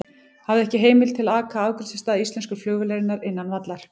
Hafði ekki heimild til að aka að afgreiðslustað íslensku flugvélarinnar innan vallar.